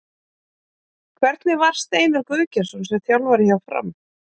Hvernig var Steinar Guðgeirsson sem þjálfari hjá Fram?